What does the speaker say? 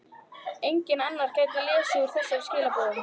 Enginn annar gæti lesið úr þessum skilaboðum.